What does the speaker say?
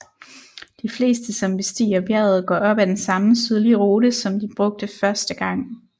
De fleste som bestiger bjerget går op af den samme sydlige rute som de brugte første gang